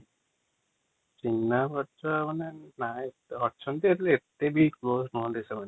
ଚିହ୍ନାପରିଛ ମାନେ ନାଇ ଅଛନ୍ତି ଯେ ଅତେ ବି କ୍ଲୋଜ଼ ନୁହନ୍ତି |